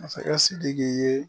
Masakɛ sidiki ye